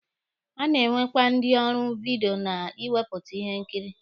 A na-enwekwa ndi ọrụ vidiyo na ịwepụta ihe nkiri.